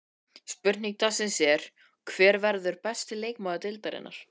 Spurning dagsins er: Hver verður besti leikmaður deildarinnar?